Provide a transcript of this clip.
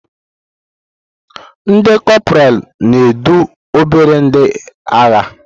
Ndi kopralu na-edu obere ndị agha.